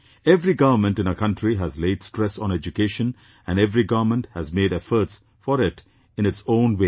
Every Government in our country has laid stress on education and every Government has made efforts for it in its own way